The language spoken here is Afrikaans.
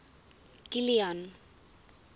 kilian